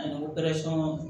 Ani